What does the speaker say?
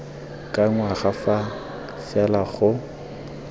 ka ngwaga fa fela go